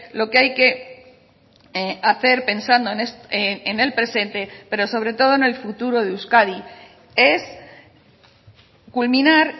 lo que hay que hacer pensando en el presente pero sobre todo en el futuro de euskadi es culminar